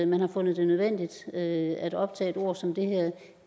man har fundet det nødvendigt at optage et ord som